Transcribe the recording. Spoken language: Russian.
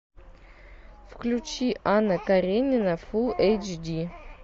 включи анна каренина фул эйч ди